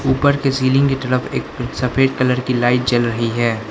ऊपर के सीलिंग की तरफ एक सफेद कलर की लाइट जल रही है।